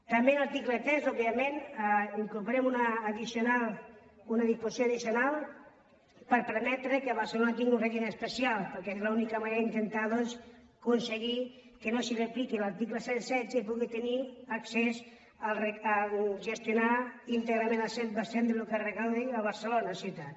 també en l’article tres òbviament incorporem una disposició addicional per permetre que barcelona tingui un règim especial perquè és l’única manera d’intentar doncs aconseguir que no se li apliqui l’article cent i setze i pugui tenir accés a gestionar íntegrament el cent per cent del que es recapti a barcelona ciutat